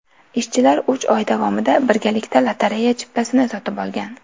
Ishchilar uch oy davomida birgalikda lotereya chiptasini sotib olgan.